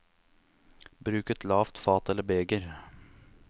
Bruk et lavt fat eller beger.